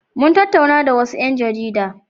Mun tattauna da wasu ƴan jarida.